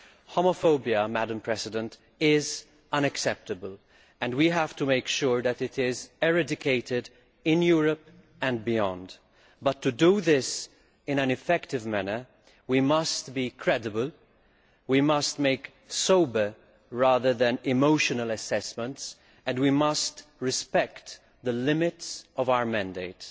Homophobia is unacceptable and we have to make sure that it is eradicated in Europe and beyond, but to do this in an effective manner we must be credible, we must make sober, rather than emotional, assessments, and we must respect the limits of our mandate.